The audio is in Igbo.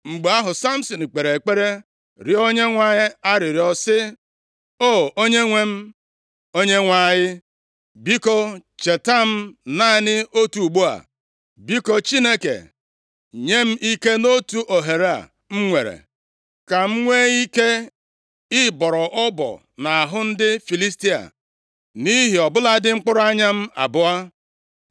Mgbe ahụ, Samsin kpere ekpere rịọọ Onyenwe anyị arịrịọ sị, “O! Onyenwe m Onyenwe anyị, biko cheta m naanị otu ugbu a. Biko, Chineke, nye m ike nʼotu ohere a m nwere, ka m nwee ike ịbọrọ ọbọ nʼahụ ndị Filistia nʼihi, ọ bụladị, mkpụrụ anya m abụọ.”